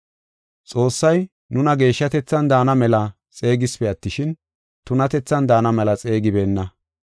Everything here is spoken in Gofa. Xoossay nuna geeshshatethan daana mela xeegisipe attishin, tunatethan daana mela xeegibeenna.